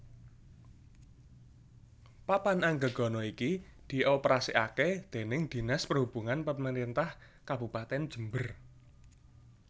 Papan Anggegana iki dioperasikake déning Dinas Perhubungan Pemerintah Kabupatèn Jember